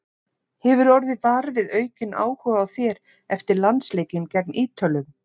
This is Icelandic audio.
Hefurðu orðið var við aukinn áhuga á þér eftir landsleikinn gegn Ítölum?